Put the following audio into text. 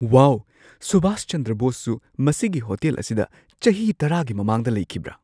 ꯋꯥꯎ! ꯁꯨꯕꯥꯁ ꯆꯟꯗ꯭ꯔ ꯕꯣꯁꯁꯨ ꯃꯁꯤꯒꯤ ꯍꯣꯇꯦꯜ ꯑꯁꯤꯗ ꯆꯍꯤ ꯱꯰ꯒꯤ ꯃꯃꯥꯡꯗ ꯂꯩꯈꯤꯕ꯭ꯔꯥ?